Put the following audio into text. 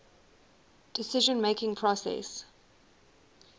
decision making process